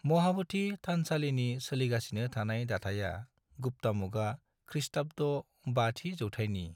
महाब'धि थानसालिनि सोलिगासिनो थानाय दाथाइया गुप्ता मुगा, खृष्टाब्द 5थि जौथायनि।